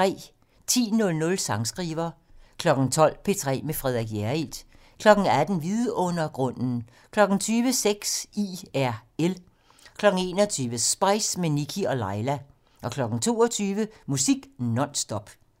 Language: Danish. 10:00: Sangskriver 12:00: P3 med Frederik Hjerrild 18:00: Vidundergrunden 20:00: Sex IRL 21:00: Spice - med Nikkie og Laila 22:00: Musik non stop